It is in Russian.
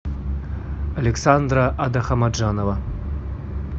александра адахамаджанова